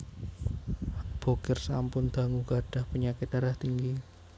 Bokir sampun dangu gadhah penyakit darah tinggi